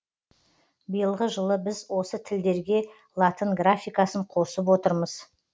биылғы жылы біз осы тілдерге латын графикасын қосып отырмыз